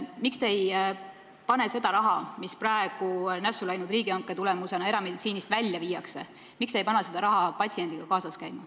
Miks te ei pane seda raha, mis praegu nässu läinud riigihanke tulemusena erameditsiinist välja viiakse, patsiendiga kaasas käima?